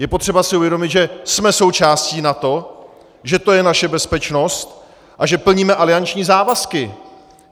Je potřeba si uvědomit, že jsme součástí NATO, že to je naše bezpečnost a že plníme alianční závazky.